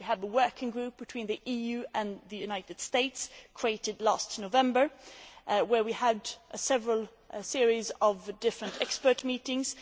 We have the working group between the EU and the United States, created last November, where we have had a series of different expert meetings.